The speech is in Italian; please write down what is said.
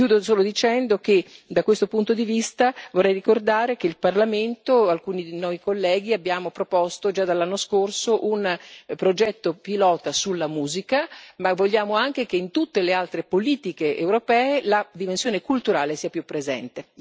Chiudo solo dicendo che da questo punto di vista, vorrei ricordare che il Parlamento, alcuni di noi colleghi abbiamo proposto già dall'anno scorso un progetto pilota sulla musica, ma vogliamo anche che in tutte le altre politiche europee la dimensione culturale sia più presente.